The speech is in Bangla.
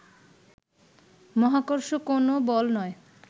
মহাকর্ষ কোন বল নয়